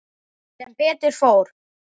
Sem betur fór.